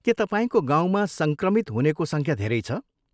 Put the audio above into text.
के तपाईँको गाउँमा सङ्क्रमित हुनेको सङख्या धेरै छ ?